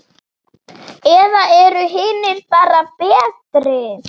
Eða eru hinir bara betri?